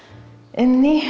inni